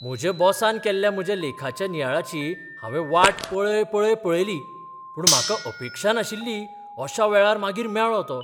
म्हज्या बॉसान केल्ल्या म्हज्या लेखाच्या नियाळाची हांवें वाट पळय पळय पळयली. पूण म्हाका अपेक्षा नाशिल्ली अशा वेळार मागीर मेळ्ळो तो.